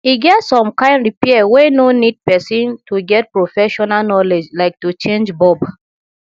e get some kind repair wey no need person to get professional knowledge like to change bulb